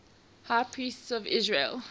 high priests of israel